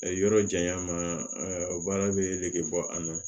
Yɔrɔ janya ma o baara bɛ nege bɔ a la